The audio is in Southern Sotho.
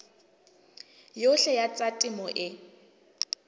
yohle ya tsa temo e